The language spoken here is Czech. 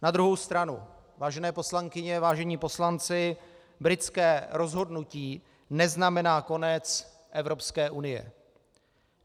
Na druhou stranu, vážené poslankyně, vážení poslanci, britské rozhodnutí neznamená konec Evropské unie.